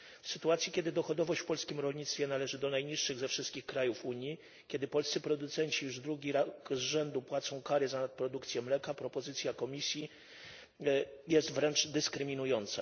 W sytuacji kiedy dochodowość w polskim rolnictwie należy do najniższych ze wszystkich krajów Unii, kiedy polscy producenci już drugi raz z rzędu płacą kary za nadprodukcję mleka, propozycja Komisji jest wręcz dyskryminująca.